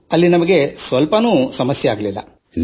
ನಮಗೆ ಅಲ್ಲಿ ಶೇಕಡಾ ಒಂದರಷ್ಟೂ ಸಮಸ್ಯೆ ಇರಲಿಲ್ಲ